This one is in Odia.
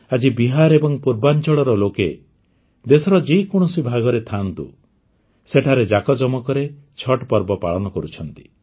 ଆଜି ବିହାର ଏବଂ ପୂର୍ବାଞ୍ଚଳର ଲୋକେ ଦେଶର ଯେକୌଣସି ଭାଗରେ ଥାଆନ୍ତୁ ସେଠାରେ ଯାକଯମକରେ ଛଠ୍ ପର୍ବ ପାଳନ କରୁଛନ୍ତି